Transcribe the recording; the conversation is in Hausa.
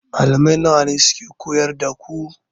Malamai nawa ne suka koyar da ku?